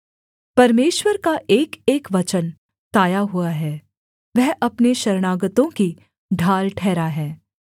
परमेश्वर का एकएक वचन ताया हुआ है वह अपने शरणागतों की ढाल ठहरा है